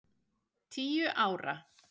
Tíu ára.